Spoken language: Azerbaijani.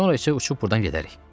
Sonra isə uçub burdan gedərik.